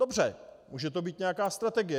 Dobře, může to být nějaká strategie.